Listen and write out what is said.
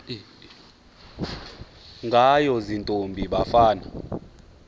ngayo ziintombi nabafana